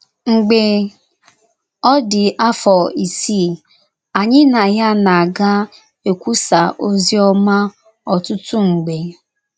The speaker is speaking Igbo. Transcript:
Mgbe ọ dị afọ isii, anyị na ya na - aga ekwusa ozi ọma ọtụtụ mgbe.